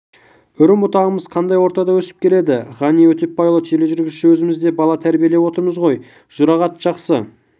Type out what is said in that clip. үрім-бұтағымыз қандай ортада өсіп келеді ғани өтепбайұлы тележүргізуші өзіміз де бала тәрбиелеп отырмыз ғой жұрағат жақсы